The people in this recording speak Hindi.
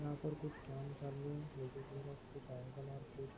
यहा पर कुछ काम चालू है --